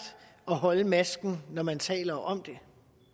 at holde masken når man taler om det